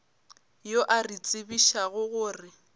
yo a re tsebišago gore